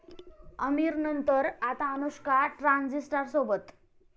आमिरनंतर आता अनुष्का ट्रान्झिस्टरसोबत...!